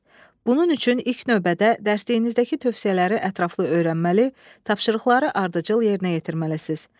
Bunun üçün ilk növbədə dərsliyinizdəki tövsiyələri ətraflı öyrənməli, tapşırıqları ardıcıl yerinə yetirməlisiz.